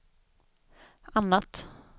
annat